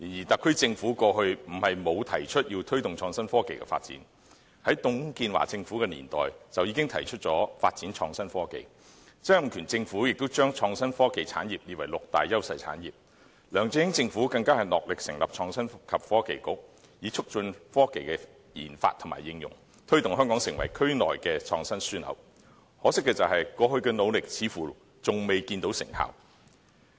特區政府過去也曾提出要推動創新科技的發展，在董建華政府的年代便已提出發展創新科技，曾蔭權政府也將創新科技產業列為六大優勢產業，梁振英政府更是戮力成立創新及科技局，以促進科技的研發和應用，推動香港成為區內的創新樞紐，可惜過去的努力似乎仍未見成效。